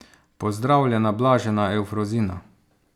Pozdravljena, blažena Evfrozina.